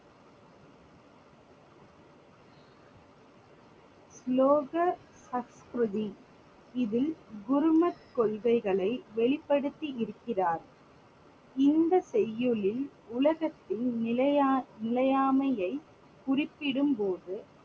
இதில் குருமத் கொள்கைகளை வெளிப்படுத்தி இருக்கிறார். இந்த செய்யுளில் உலகத்தின் நிலையா~ நிலையாமையை குறிப்பிடும் போது